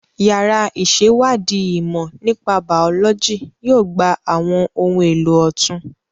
Yàrá ìṣèwádìí ìmọ̀ nípa Bàọ́lọ́jì yóò gba àwọn ohun èlò ọ̀tun